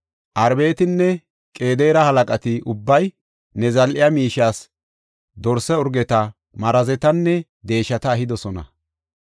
Arabetinne Qedaare halaqati ubbay ne zal7e miishiyas dorsa urgeta, marazetanne deeshata ehidosona.